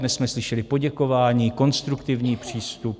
Dnes jsme slyšeli poděkování, konstruktivní přístup.